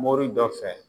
Mori dɔ fɛ